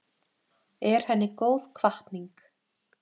Er henni góð hvatning.